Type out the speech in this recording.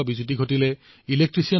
আধুনিক ৰূপত এইসকল লোকেই বিশ্বকৰ্মা